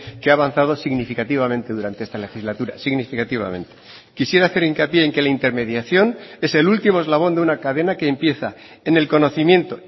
que ha avanzado significativamente durante esta legislatura significativamente quisiera hacer hincapié en que la intermediación es el último eslabón de una cadena que empieza en el conocimiento